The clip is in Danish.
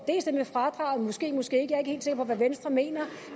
det med fradraget måske måske ikke jeg er ikke helt sikker på hvad venstre mener